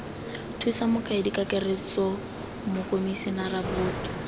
thusa mokaedi kakaretso mokomisinara boto